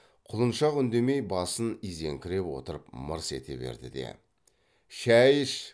құлыншақ үндемей басын изеңкіреп отырып мырс ете берді де шай іш